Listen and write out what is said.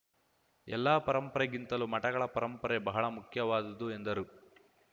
ಎಲ್ಲ ಪರಂಪರೆಗಿಂತಲೂ ಮಠಗಳ ಪರಂಪರೆ ಬಹಳ ಮುಖ್ಯವಾದುದು ಎಂದರು